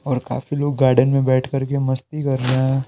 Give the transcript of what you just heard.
और काफी लोग गार्डन में बैठ कर के मस्ती कर रहे हैं।